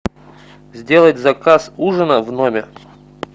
сделать заказ ужина в номер